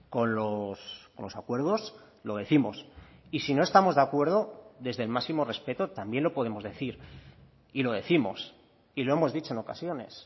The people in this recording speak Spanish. con los acuerdos lo décimos y si no estamos de acuerdo desde el máximo respeto también lo podemos decir y lo décimos y lo hemos dicho en ocasiones